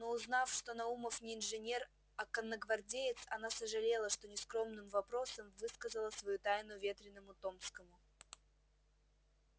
но узнав что наумов не инженер а конногвардеец она сожалела что нескромным вопросом высказала свою тайну ветреному томскому